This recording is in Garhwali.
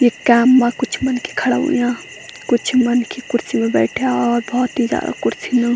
इख कैंप मा कुछ मनखी खड़ा हुंया कुछ मनखी कुर्सी मा बैठ्या और भौत ही जादा कुर्सी न।